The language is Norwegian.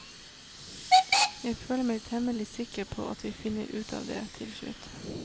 Jeg føler meg temmelig sikker på at vi finner ut av det slutt.